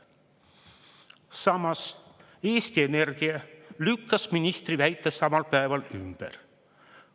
Samas, Eesti Energia lükkas ministri väite samal päeval ümber.